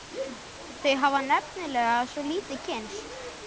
Þau hafa nefnilega svo lítið kynnst.